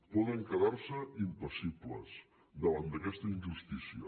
poden quedar se impassibles davant d’aquesta injustícia